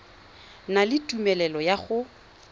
na le tumelelo ya go